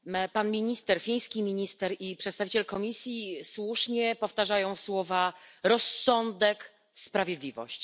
Pan minister, fiński minister, i przedstawiciel Komisji słusznie powtarzają słowa rozsądek, sprawiedliwość.